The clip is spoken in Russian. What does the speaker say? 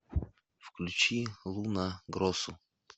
включи луна гросу